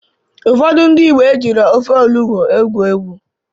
Ụfọdụ ndị Igbo ejiro ofe onugbo egwu egwu.